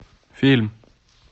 фильм